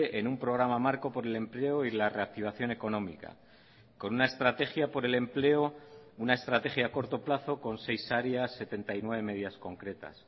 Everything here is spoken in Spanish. en un programa marco por el empleo y la reactivación económica con una estrategia por el empleo una estrategia a corto plazo con seis áreas setenta y nueve medidas concretas